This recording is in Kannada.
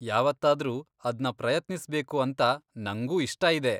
ಯಾವತ್ತಾದ್ರೂ ಅದ್ನ ಪ್ರಯತ್ನಿಸ್ಬೇಕು ಅಂತ ನಂಗೂ ಇಷ್ಟ ಇದೆ.